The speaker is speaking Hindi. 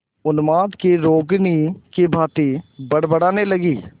उन्माद की रोगिणी की भांति बड़बड़ाने लगी